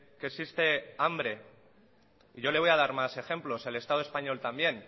que existe hambre y yo le voy a dar más ejemplos el estado español también